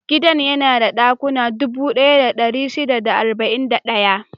Gidan yana da dakuna dubu ɗaya da ɗari shida da arba'in da ɗaya.